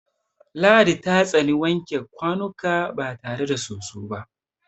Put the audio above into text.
Ladi ta tsani wanke kwanuka ba tare da soso ba.